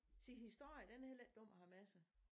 Se historien den er heller ikke dum at have med sig